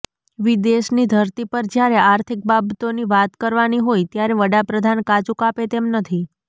વિદેશની ધરતી પર જ્યારે આર્થિક બાબતોની વાત કરવાની હોય ત્યારે વડાપ્રધાન કાચું કાપે તેમ નથી